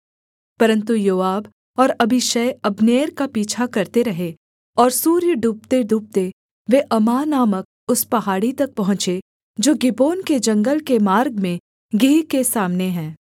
परन्तु योआब और अबीशै अब्नेर का पीछा करते रहे और सूर्य डूबतेडूबते वे अम्माह नामक उस पहाड़ी तक पहुँचे जो गिबोन के जंगल के मार्ग में गीह के सामने है